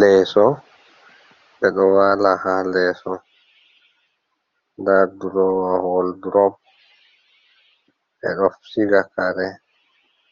Leso ɓe ɗo wala ha leso, nda drowa woldrop, ɓeɗo siga kare